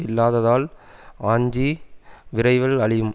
இல்லாததால் ஆஞ்சி விரைவில் அழியும்